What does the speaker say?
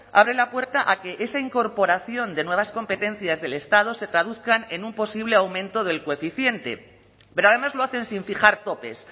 abre la puerta a que esa incorporación de nuevas competencias del estado se traduzcan en un posible aumento del coeficiente pero además lo hacen sin fijar topes